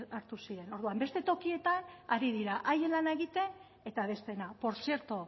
hartu zen orduan beste tokietan ari dira haien lana egiten eta besteena portzierto